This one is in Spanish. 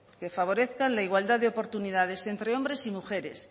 que favorezcan la igualdad de oportunidades entre hombres y mujeres